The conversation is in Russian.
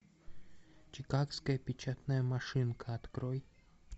чикагская печатная машинка открой